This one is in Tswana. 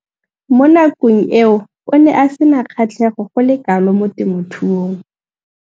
Mo nakong eo o ne a sena kgatlhego go le kalo mo temothuong.